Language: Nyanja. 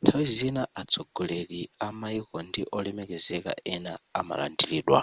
nthawi zina atsogoleri a maiko ndi olemekezeka ena amalandilidwa